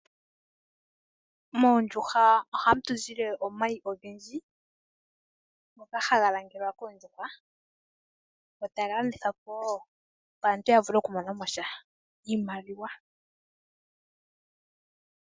Moondjuhwa ohamu tu zile omayi ogendji ngoka haga langelwa koondjuhwa, go taga landithwa po, opo aantu ya vule oku mona mosha iimaliwa.